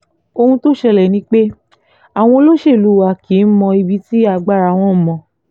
ohun tó ṣẹlẹ̀ ni pé àwọn olóṣèlú wa kì í mọ ibi tí agbára wọn mọ